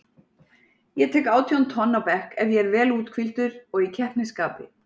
Ég tek átján tonn á bekk ef ég er vel úthvíldur og í keppnisskapi.